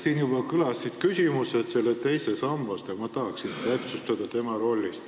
Siin juba kõlasid küsimused teise samba kohta, aga ma tahaksin täpsustada selle rolli.